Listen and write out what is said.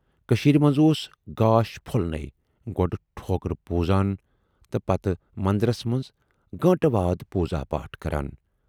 کٔشیٖرِ مَنز اوس گاش پھۅلٕنے گۅڈٕ ٹھوکُر پوٗزان تہٕ پَتہٕ مندرس مَنز گٲنٹہٕ وادٕ پوٗزا پاٹھ کَران۔